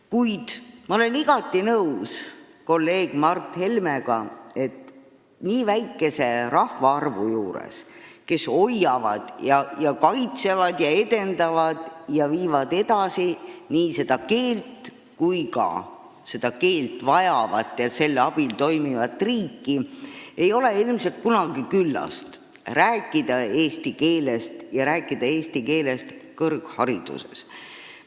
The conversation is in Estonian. Kuid ma olen igati nõus kolleeg Mart Helmega, et nii väikese rahva puhul, kes hoiab, kaitseb, edendab ja viib edasi nii seda keelt kui ka seda keelt vajavat ja selle abil toimivat riiki, ei ole ilmselt kunagi liig rääkida eesti keelest, sh eesti keelest kõrghariduses.